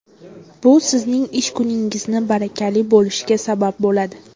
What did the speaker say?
Bu sizning ish kuningizni barakali bo‘lishiga sabab bo‘ladi.